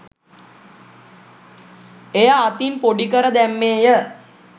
එය අතින් පොඩි කර දැම්මේය